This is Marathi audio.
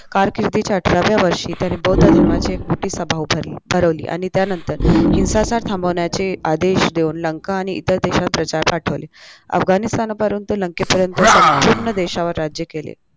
कारकिर्दीच्या अठराव्या वर्षी त्याने बौद्ध धर्माची एक मोठी सभा उभारली भरवली आणि त्यानंतर हिंसाचार थांबवण्याचे आदेश देऊन लंका आणि इतर देशात प्रचारक पाठवले अफगाणिस्थानापासून ते लंकेपर्यंत संपूर्ण देशावर राज्य केले